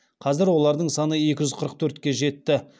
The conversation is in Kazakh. қазір олардың саны екі жүз қырық төртке жетті